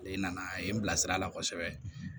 E nana a ye n bila sira la kosɛbɛ